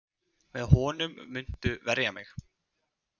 Með honum muntu verja mig.